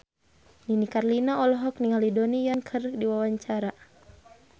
Nini Carlina olohok ningali Donnie Yan keur diwawancara